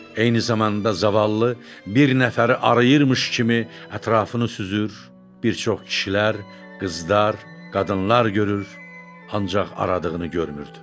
Eyni zamanda zavallı bir nəfəri arıyırmış kimi ətrafını süzür, bir çox kişilər, qızlar, qadınlar görür, ancaq aradığını görmürdü.